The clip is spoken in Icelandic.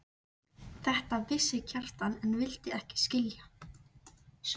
Þetta vissi Kjartan en vildi ekki skilja.